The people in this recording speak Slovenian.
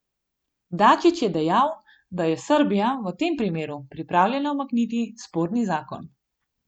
Dačić je dejal, da je Srbija v tem primeru pripravljena umakniti sporni zakon.